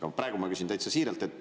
Aga praegu ma küsin täitsa siiralt.